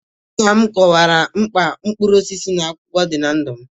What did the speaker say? Nna m kọwara m mkpa mkpụrụ osisi na akwụkwọ dị na ndụ m.